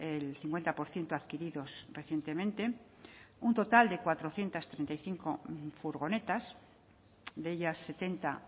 el cincuenta por ciento adquiridos recientemente un total de cuatrocientos treinta y cinco furgonetas de ellas setenta